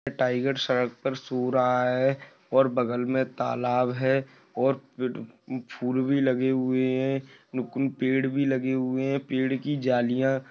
Tiger सड़क पर सो रहा हैं और बगल में तालाब हैं और फूल भी लगे हुए हैं। पेड़ भी लगे हुए हैं। पेड़ की जालियाँ--